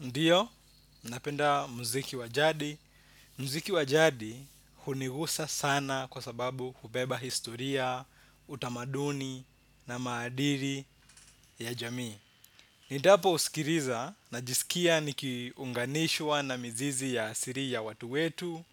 Ndiyo, napenda mziki wa jadi. Mziki wa jadi hunigusa sana kwa sababu hubeba historia, utamaduni na maadiri ya jamii. Nindapo sikiriza najisikia nikiunganishwa na mizizi ya asiri ya watu wetu.